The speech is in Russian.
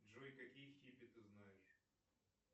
джой какие хиппи ты знаешь